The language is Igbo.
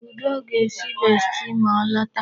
Udoka ga-esi besti ma o lota.